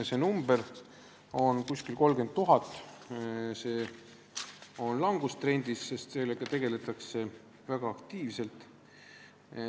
See number on umbes 30 000 ja see on langustrendis, sest sellega tegeletakse väga aktiivselt.